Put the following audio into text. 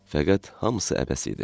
Fəqət hamısı əbəs idi.